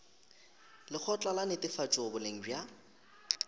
lekgotla la netefatšo boleng bja